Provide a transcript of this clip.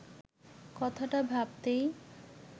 কথাটা ভাবতেই